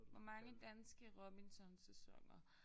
Hvor mange danske Robinson sæsoner